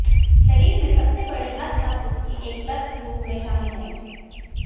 शरीर में सबसे बड़ी हद तक उसकी एकलक रूप में शामिल है